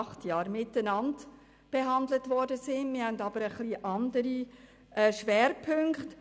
Die beiden Motionen haben jedoch jeweils einen etwas anderen Schwerpunkt.